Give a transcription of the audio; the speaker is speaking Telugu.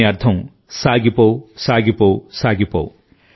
దీని అర్థం కొనసాగించు కొనసాగించు